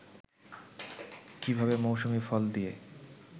কীভাবে মৌসুমি ফল দিয়ে